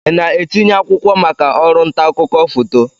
Ị na-etinye akwụkwọ maka ọrụ nta akụkọ foto?